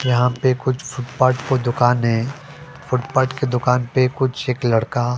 यहा पे कुछ फुट पाठ पे दुकान है फुट पाठ की दुकान पे कुछ एक लड़का --